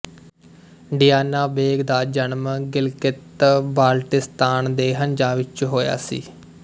ਡੀਆਨਾ ਬੇਗ ਦਾ ਜਨਮ ਗਿਲਗਿਤ ਬਾਲਟਿਸਤਾਨ ਦੇ ਹੰਜ਼ਾ ਵਿੱਚ ਹੋਇਆ ਸੀ